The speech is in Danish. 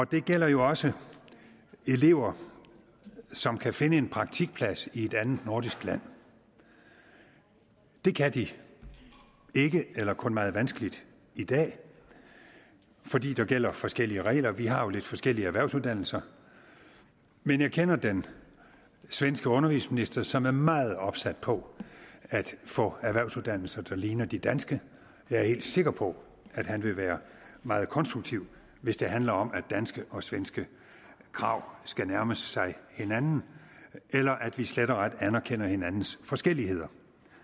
det gælder jo også elever som kan finde en praktikplads i et andet nordisk land det kan de ikke eller kun meget vanskeligt i dag fordi der gælder forskellige regler vi har jo lidt forskellige erhvervsuddannelser men jeg kender den svenske undervisningsminister som er meget opsat på at få erhvervsuddannelser der ligner de danske jeg er helt sikker på at han vil være meget konstruktiv hvis det handler om at danske og svenske krav skal nærme sig hinanden eller at vi slet og ret anerkender hinandens forskelligheder